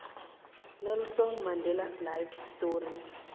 nelson mandelas life story